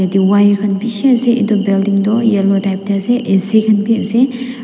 ete wire khan bishi ase etu building toh yellow type tae ase A_C khan vi ase.